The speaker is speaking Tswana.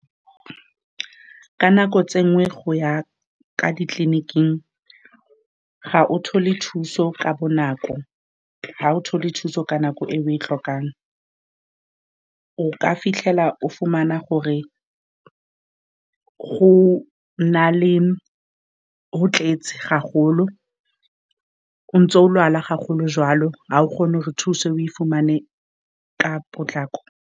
Ka nako tse dingwe, go ya kwa ditleliniking, ga o thole thuso ka bonako. Ga o thole thuso ka nako e o e tlhokang o ka fitlhela, o fumana gore go na le, go tletse haholo. O ntse o lwala joalo ga o kgone gore thuso o e fumane ka potlako.